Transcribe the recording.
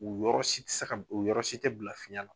U yɔrɔ si tɛ se ka u yɔrɔ si tɛ bila fiyɛn na.